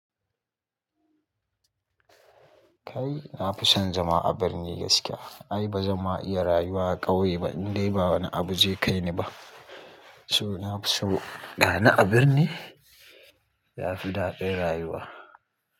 Kai, na fi son zama a birni gaskiya. Ai ba zan ma iya rayuwa a ƙauye ba, in dai ba wani abu zai kai ni ba. To nafi so gani a birni yafi daɗin rayuwa.